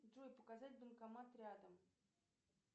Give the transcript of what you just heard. джой показать банкомат рядом